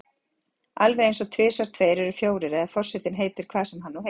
Alveg einsog tvisvar tveir eru fjórir eða forsetinn heitir hvað hann nú heitir.